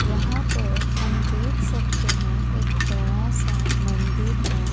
यहां पर हम देख सकते हैं एक बड़ा सा मंदिर है।